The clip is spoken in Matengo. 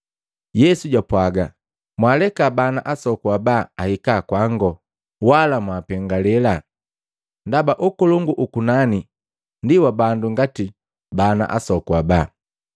Yesu jwapwaga, “Mwaaleka bana asoku aba ahika kwangu, wala mwaapengale, ndaba ukolongu ukunani ndi wa bandu ngati bana asoku aba.”